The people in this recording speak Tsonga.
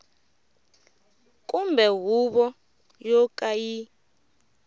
kumbe huvo yo ka yi